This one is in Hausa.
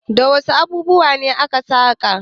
Da wasu abubuwa ne aka saƙa?